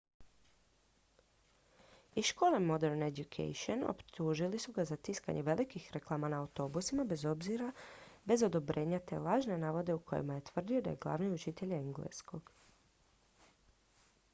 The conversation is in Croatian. iz škole modern education optužili su ga za tiskanje velikih reklama na autobusima bez odobrenja te lažne navode u kojima je tvrdio da je glavni učitelj engleskog